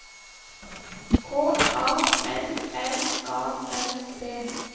K A L L A N D